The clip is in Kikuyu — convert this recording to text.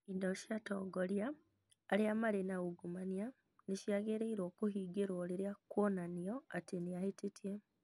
Indo cia atongoria arĩa marĩ na ungumania nĩ ciagĩrĩirũo kũhingĩrwo rĩrĩa kuonanio atĩ nĩ ahĩtĩtie